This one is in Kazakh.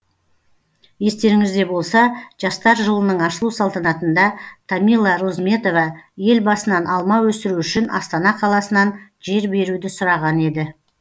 естеріңізде болса жастар жылының ашылу салтанатында тамила розметова елбасынан алма өсіру үшін астана қаласынан жер беруді сұраған еді